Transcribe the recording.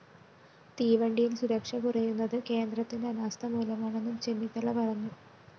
തീവണ്ടിയില്‍ സുരക്ഷ കുറയുന്നത് കേന്ദ്രത്തിന്റെ അനാസ്ഥമൂലമാണെന്നും ചെന്നിത്തല പറഞ്ഞു